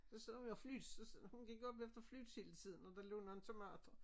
Så så vi der flute så hun gik op efter flutes hele tiden og der lå nogle tomater